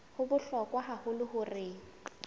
ho bohlokwa haholo hore o